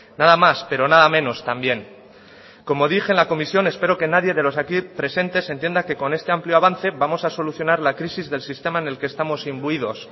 nada más pero nada menos también como dije en la comisión espero que nadie de los aquí presentes entienda que con este amplio avance vamos a solucionar la crisis del sistema en el que estamos imbuidos